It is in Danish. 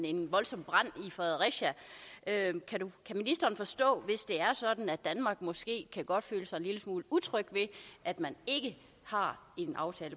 en voldsom brand i fredericia kan ministeren forstå hvis det er sådan at danmark måske godt kan føle sig en lille smule utryg ved at man ikke har en aftale